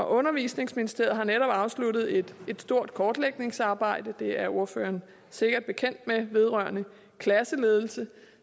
undervisningsministeriet har netop afsluttet et stort kortlægningsarbejde det er ordføreren sikkert bekendt med vedrørende klasseledelse